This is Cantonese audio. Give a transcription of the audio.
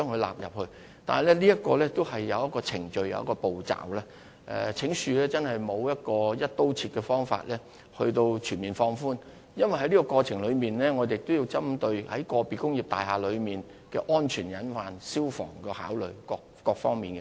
然而，當中有既定程序及步驟須予遵從，請恕我們真的沒有"一刀切"的方法可以作出全面的放寬，因為我們亦要考慮個別工業大廈的安全隱患及消防設備等各方面。